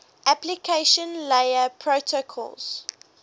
application layer protocols